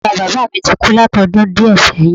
Bàbáa bàbá mi ti kú látodún díè séyìn